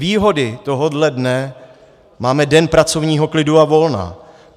Výhody tohohle dne - máme den pracovního klidu a volna.